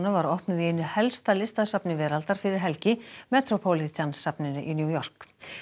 var opnuð í einu helsta listasafni veraldar fyrir helgi metropolitan safninu í New York